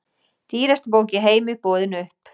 Dýrasta bók í heimi boðin upp